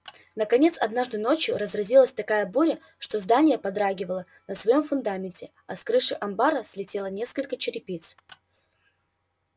наконец однажды ночью разразилась такая буря что здание подрагивало на своём фундаменте а с крыши амбара слетело несколько черепиц